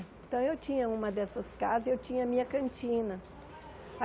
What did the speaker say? Então eu tinha uma dessas casas e eu tinha a minha cantina.